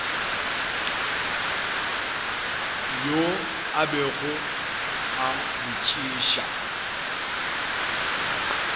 yoo a bego a botšiša